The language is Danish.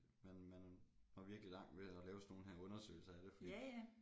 Man man når virkelig langt ved at lave sådan nogle her undersøgelser af det fordi